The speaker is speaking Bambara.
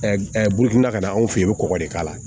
Bukunna ka na anw fɛ yen i bɛ kɔgɔ de k'a la